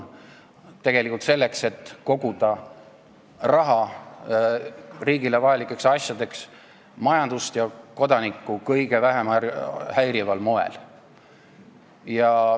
Tegelikult selleks, et koguda raha riigile vajalikeks asjadeks majandust ja kodanikku kõige vähem häirival moel.